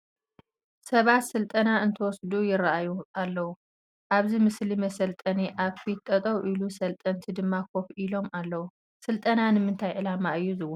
ሰባት ስልጠና እንትወስዱ ይርአዩ ኣለዉ፡፡ ኣብዚ መስሊ መሰልጠኒ ኣብ ፊት ጠጠው ኢሉ ሰልጠንቲ ድማ ኮፍ ኢሎም ኣለዉ፡፡ ስልጠና ንምንታይ ዕላማ እዩ ዝወሃብ?